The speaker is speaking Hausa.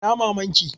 Ina maman ki?